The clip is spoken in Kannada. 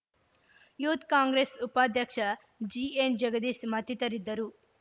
ಯುಥ್‌ ಕಾಂಗ್ರೆಸ್‌ ಉಪಾಧ್ಯಕ್ಷ ಜಿಎನ್‌ಜಗದೀಶ ಮತ್ತಿತರಿದ್ದರು